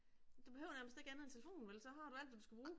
Du behøver nærmest ikke andet end telefonen vel, så har du alt hvad du skal bruge